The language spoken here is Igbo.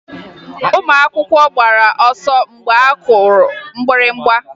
Ụmụ akwụkwọ gbara ọsọ mgbe a kụrụ mgbịrịgba